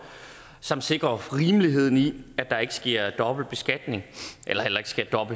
samt sikrer rimeligheden i at der ikke sker dobbeltbeskatning